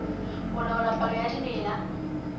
ho laola palo ya dimela